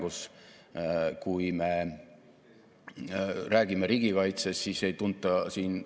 Üha enam ettevõtteid korraldab seetõttu ümber oma protsesse, tarneahelaid, asendavad tehnoloogiaid või muudavad ärimudeleid tervikuna.